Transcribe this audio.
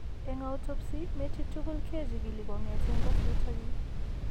Eng' autopsy metit tugul kechigil kong'eeten kosirto chi.